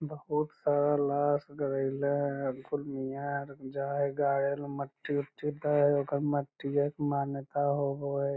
बहुत सारा लास गारैले है फुल मिया है अर जाय है गाड़ेल मट्टी-उट्टी दय हय ओकर मट्टीये क मान्यता होबो हय।